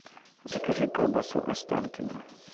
закажи колбасу останкино